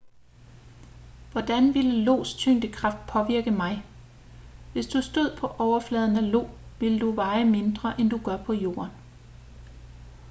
hvordan ville io's tyngdekraft påvirke mig hvis du stod på overfladen af io ville du veje mindre end du gør på jorden